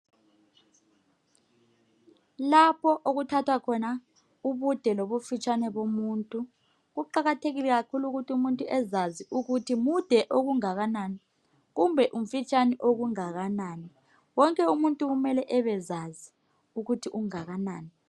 Kulapho okuthathwa khona ubude lobufitshane bomuntu kuqakathekile kakhulu ukuthi umuntu ezazi ukuthi mude okungakanani kumbe umfitshane okungakanani wonke kumele abezazi ukuthi ungakanani.